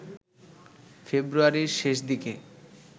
ফেব্রুয়ারির শেষদিকে